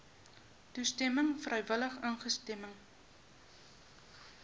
toestemming vrywillige instemming